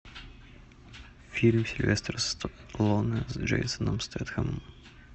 фильм сильвестр сталлоне с джейсоном стэтхэмом